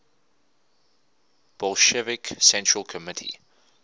bolshevik central committee